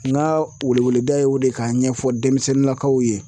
N ka wele wele da ye o de kan ɲɛfɔ denmisɛnninnakaw ye